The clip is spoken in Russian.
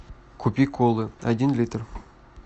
купи колы один литр